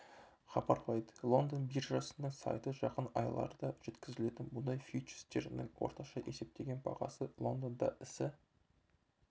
хабарлайды лондон биржасының сайты жақын айларда жеткізілетін мұнай фьючерстерінің орташа есептеген бағасы лондонда ісі